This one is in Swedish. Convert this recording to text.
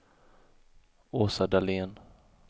Åsa Dahlén